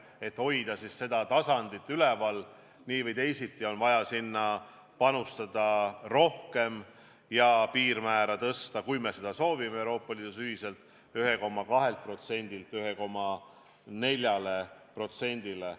Et seda taset hoida, on nii või teisiti vaja sinna rohkem panustada ja tõsta piirmäär, kui me seda Euroopa Liidus ühiselt soovime, 1,2%-lt 1,4%-le.